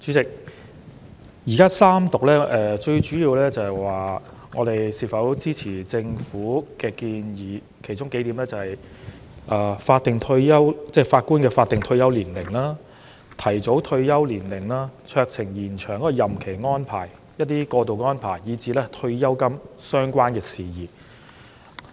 主席，現時三讀主要是議員就是否支持政府的建議進行表決，其中包括延展法官的法定退休年齡、酌情提早退休年齡、酌情延展任期安排、過渡安排及退休金等相關事宜。